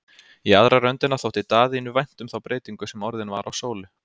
Í aðra röndina þótti Daðínu vænt um þá breytingu sem orðin var á Sólu.